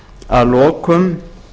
að lokum